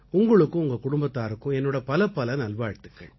உங்களுக்கும் உங்க குடும்பத்தாருக்கும் என்னோட பலப்பல நல்வாழ்த்துக்கள்